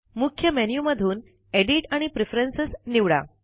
मुख्य मेन्यु मधून एडिट आणि प्रेफरन्स निवडा